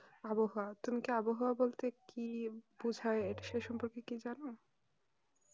আবহাওয়া তুমি কি আবহাওয়া বলতে কি বোঝায় সেই সম্পর্কে কি জানো